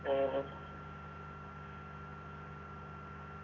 ആ